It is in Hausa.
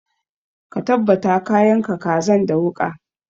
Ka tabbata ka yanka kazan da wuƙa!